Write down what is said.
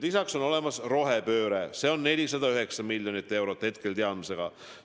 Lisaks on eesmärk rohepööre, milleks hetke teadmiste kohaselt läheb 409 miljonit eurot.